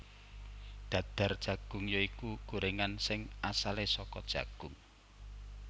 Dadar Jagung ya iku gorengan sing asale saka jagung